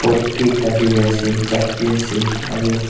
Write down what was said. pot vi ekta dhuri ase jug vi ase aru.